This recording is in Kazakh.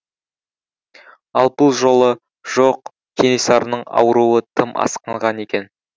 ал бұл жолы жоқ кенесарының ауруы тым асқынған екен